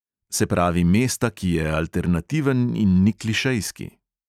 Se pravi mesta, ki je alternativen in ni klišejski.